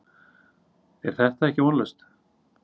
Er þetta ekki vonlaust?